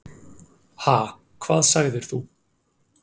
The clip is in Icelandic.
Ha, hvað sagðir þú?